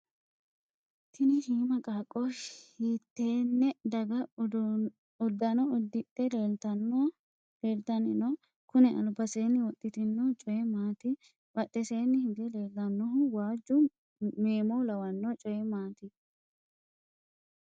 tini shiima qaaqqo hiittenne daga uddano uddidhe leeltanni no? kuni albisera wodhitino coyi maati? badheseenni hige leellannohu waajju meemo lawanno coyi maati?